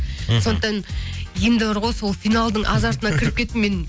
сондықтан енді бар ғой сол финалдың азартына кіріп кеттім мен